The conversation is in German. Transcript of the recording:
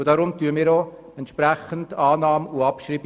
Darum akzeptieren wir Annahme und Abschreibung.